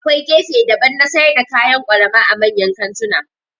Akwai gefe daban na sayar da kayan kwalama a manyan kantuna